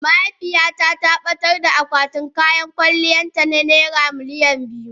mahaifiyata ta batar da akwatin kayan kwalliyarta na naira miliyan biyu.